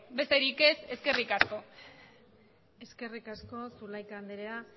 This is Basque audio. besterik ez eskerrik asko eskerrik asko zulaika andrea